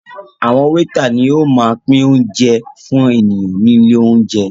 Àwọn wétà ni ó máa ń pín óúnjẹ fún ènìyàn ní ilé óúnjẹ